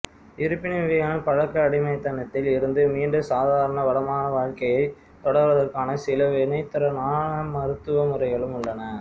இருப்பினும் இவ்வகையான பழக்க அடிமைத்தனத்தில் இருந்து மீண்டு சாதாரண வளமான வாழ்க்கையைத் தொடருவதற்கான சில வினைத்திறனான மருத்துவ முறைகளும் உள்ளன